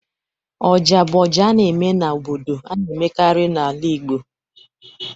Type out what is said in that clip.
Oja bụ ọjà a na-eme n'obodo a na-emekarị n'ala Igbo